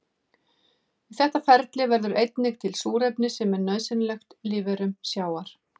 Við þetta ferli verður einnig til súrefni sem er nauðsynlegt lífverum sjávar.